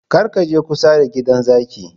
Kar ka je kusa da gidan zakin!